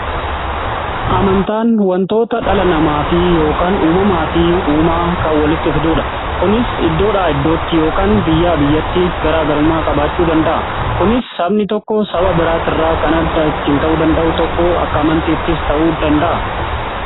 Amantaan wantoota dhala namaa fi yookaan uumamaa fi uumaa ka walitti fiduudha. Kunis iddoodha iddootti yookaan biyyaa biyyatti garaagarummaa qabaachuu danda'a. Kunis sabni tokko saba biraati irraa kan adda ittiin ta'uu danda'u tokko akka amantiis ta'uu danda'a.